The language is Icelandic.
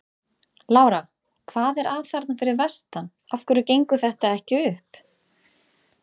Lára: Hvað er að þarna fyrir vestan, af hverju gengur þetta ekki upp?